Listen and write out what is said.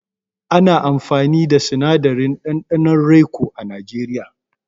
Ana amfani da sinadarin ɗanɗanon raico a najeriya.